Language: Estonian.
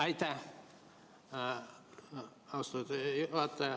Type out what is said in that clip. Aitäh, austatud juhataja!